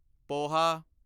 poha